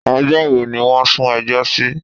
Ọjọ́ wo ni wọ́n sún ẹjọ́ sí?